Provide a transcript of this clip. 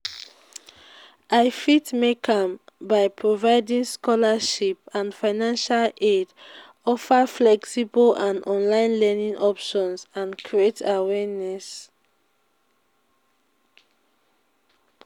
i fit make am by providing scholarships and financial aid offer flexible and online learning options and create awareness.